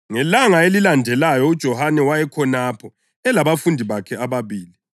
Ngelanga elilandelayo uJohane wayekhonapho, elabafundi bakhe ababili.